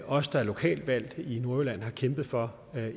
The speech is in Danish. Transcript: os der er lokalt valgt i nordjylland har kæmpet for